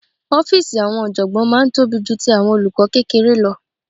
Ọ́fíìsì àwọn ọ̀jọ̀gbọ́n máa ń tóbi ju ti àwọn olùkọ́ kékeré lọ